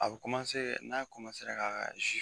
A bɛ n'a k'a ka